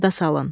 Yada salın.